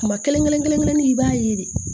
Kuma kelen kelen kelen kelennin i b'a ye de